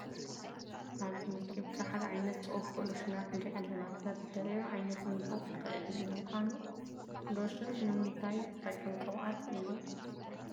ኣብዚ ምስሊ ብዙሓት ዓይነት ዝቕብኡ ሎሽናት ንርኢ ኣለና፡፡ ሰብ ዝደለዮ ዓይነት ምምራፅ ይኽእል እዩ፡፡ ንምዃኑ ሎሽን ንምንታይ ዝጠቅም ቅብኣት እዩ?